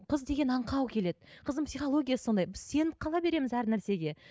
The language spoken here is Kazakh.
қыз деген аңқау келеді қыздың психологиясы сондай біз сеніп қала береміз әр нәрсеге